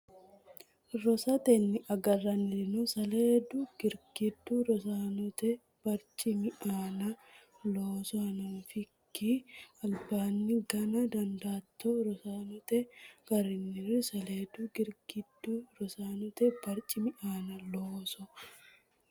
Rosatenni agarrannireno saleedu girgiddu rosaanote barcimi aana looso hanafakkira albaanni gana dandaatto Rosatenni agarrannireno saleedu girgiddu rosaanote barcimi aana looso.